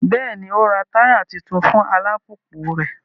Bẹẹni, o n rá taya tuntun fún alupupu rẹ